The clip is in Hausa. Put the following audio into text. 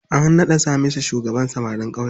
An naɗa Hamisu shugaban samarin ƙauye.